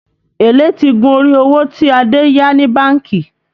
Èlé ti gun orí owó tí Adé yá ní bánkì